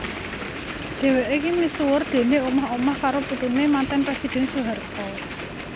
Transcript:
Dhèwèké misuwur déné omah omah karo putuné manten presidèn Soeharto